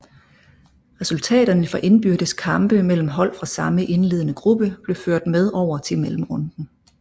Resultaterne fra indbyrdes kampe mellem hold fra samme indledende gruppe blev ført med over til mellemrunden